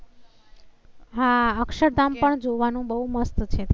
હા, અક્ષરધામ પણ જોવા નું બહુ મસ્ત છે ત્યાં